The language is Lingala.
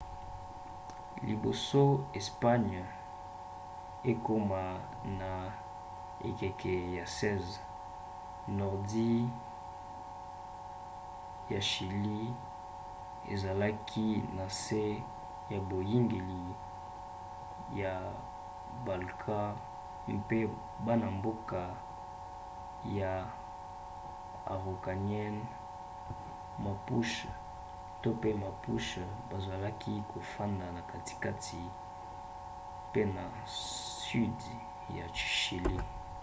liboso espagne ekoma na ekeke ya 16 nordi ya chili ezalaki na nse ya boyangeli ya bainca mpe bana-mboka ya araucanians mapuche bazalaki kofanda na katikati pe na sudi ya chili